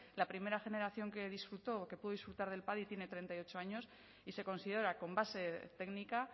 la primera generación que disfrutó o que pudo disfrutar del padi tiene treinta y ocho años y se considera con base técnica